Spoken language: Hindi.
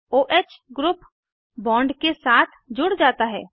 o ह ग्रुप बॉन्ड के साथ जुड़ जाता है